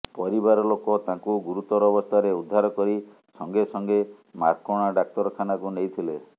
ପରିବାର ଲୋକ ତାଙ୍କୁ ଗୁରୁତର ଅବସ୍ଥାରେ ଉଦ୍ଧାର କରି ସଂଗେ ସଂଗେ ମାର୍କୋଣା ଡାକ୍ତରଖାନାକୁ ନେଇଥିଲେ